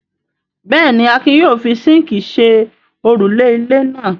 Bẹ́ẹ̀ ni, Akin yóò fi síńkì ṣe òrùlé ilé náà.